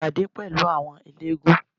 Ṣe ìpàdé pẹ̀lú àwọn eléégún